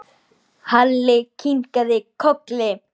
Halli kinkaði kolli.